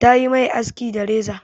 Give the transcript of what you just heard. Ta yi mai aski da reza.